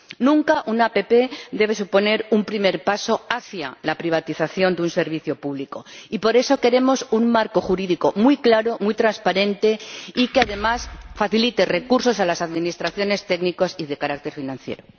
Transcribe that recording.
Nunca una APP debe suponer un primer paso hacia la privatización de un servicio público, y por eso queremos un marco jurídico muy claro, muy transparente y que además facilite recursos a las administraciones técnicos y de carácter financiero.